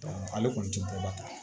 ale kɔni tɛ bɔ ba ta